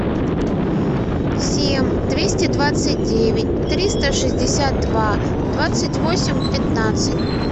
семь двести двадцать девять триста шестьдесят два двадцать восемь пятнадцать